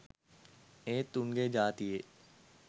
ඒත් උන්ගෙ ජාතියේ.